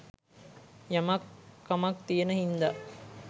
යමක් කමක් තියෙන හින්ද